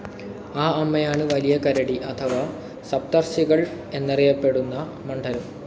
ആ അമ്മയാണ് വലിയ കരടി അഥവാ സപ്തർഷികൾ എന്നറിയപ്പെടുന്ന മണ്ഡലം.